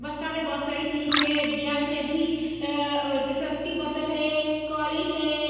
बस्ता में बहोत सारी चीज़े दियाल में भी की बोतल है कॉलिन है।